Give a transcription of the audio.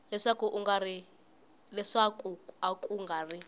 leswaku a ku nga ri